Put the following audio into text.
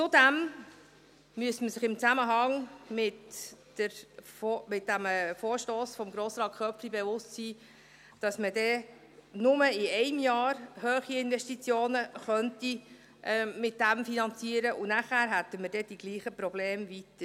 Zudem müsste man sich in Zusammenhang mit diesem Vorstoss von Grossrat Köpfli bewusst sein, dass man nur in einem Jahr hohe Investitionen damit finanzieren könnte, und danach hätten wir weiterhin die gleichen Probleme.